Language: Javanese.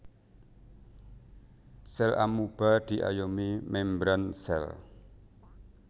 Sèl amoeba diayomi mèmbran sèl